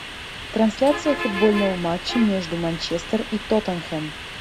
трансляция футбольного матча между манчестер и тоттенхэм